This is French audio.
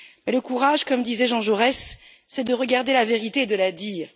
Le courage, comme disait Jean Jaurès, c'est de chercher la vérité et de la dire.